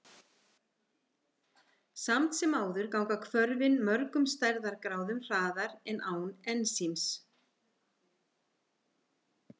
Samt sem áður ganga hvörfin mörgum stærðargráðum hraðar en án ensíms.